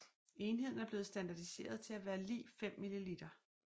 Enheden er blevet standardiseret til at være lig 5 ml